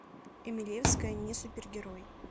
эмелевская не супергерой